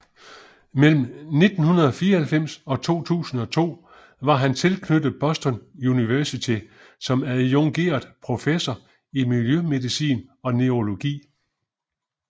Mellem 1994 og 2002 var han tilknyttet Boston University som adjungeret professor i miljømedicin og neurologi